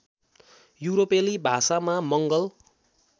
युरोपेली भाषामा मङ्गल